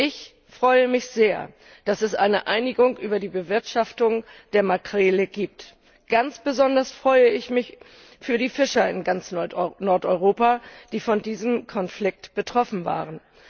Ich freue mich sehr, dass es eine Einigung über die Bewirtschaftung der Makrele gibt. Ganz besonders freue ich mich für die Fischer in ganz Nordeuropa, die von diesem Konflikt betroffen waren.